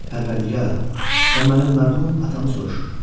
Pərvərdigara, o mənim mərhum atamı soruşur.